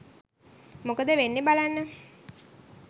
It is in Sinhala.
මොකද වෙන්නෙ බලන්න